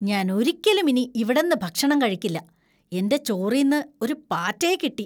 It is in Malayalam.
ഞാൻ ഒരിക്കലും ഇനി ഇവടന്നു ഭക്ഷണം കഴിക്കില്ല, എന്‍റെ ചോറീന്ന് ഒരു പാറ്റയെ കിട്ടി.